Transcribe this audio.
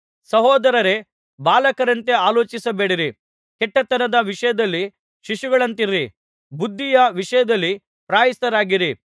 ಸಹೋದರರೇ ಬಾಲಕರಂತೆ ಆಲೋಚಿಸಬೇಡಿರಿ ಕೆಟ್ಟತನದ ವಿಷಯದಲ್ಲಿ ಶಿಶುಗಳಂತಿರಿ ಬುದ್ಧಿಯ ವಿಷಯದಲ್ಲಿ ಪ್ರಾಯಸ್ಥರಾಗಿರಿ